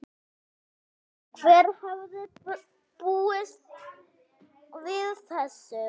Hver hefði búist við þessu?